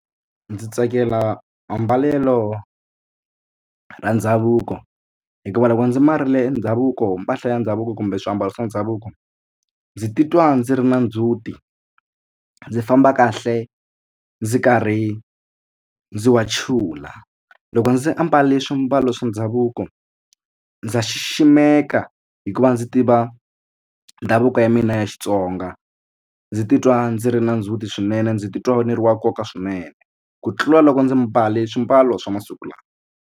Ndzi tsakela ambalelo ra ndhavuko hikuva loko ndzi mbarile ndhavuko mpahla ya ndhavuko kumbe swiambalo swa ndhavuko ndzi titwa ndzi ri na ndzhuti ndzi famba kahle ndzi karhi ndzi wachula. Loko ndzi ambale swiambalo swa ndhavuko ndza xiximeka hikuva ndzi tiva ndhavuko ya mina ya Xitsonga ndzi titwa ndzi ri na ndzhuti swinene ndzi titwa ni ri wa nkoka swinene ku tlula loko ndzi mbale swimbalo swa masiku lawa.